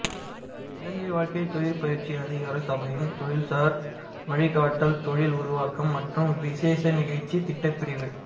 இலங்கை வாழ்க்கைத் தொழிற் பயிற்சி அதிகார சபையின் தொழில்சார் வழிகாட்டல்கள்இ தொழில் உருவாக்கம் மற்றும் விசேட நிகழ்ச்சித் திட்டப் பிரிவூ